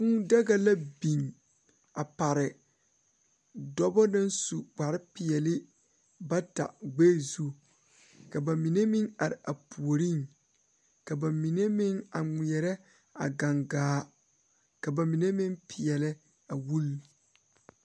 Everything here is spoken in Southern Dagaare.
Kūū daga la biŋ a pare dɔɔba bata naŋ su kpare peɛle gbɛ zu ka bamine meŋ are a puori ka bamine meŋ a ŋmɛɛre a gangaa ka bamine meŋ peɛlɛ a wɔli.